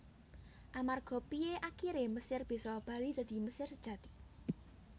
Amarga Piye akiré Mesir bisa bali dadi Mesir sejati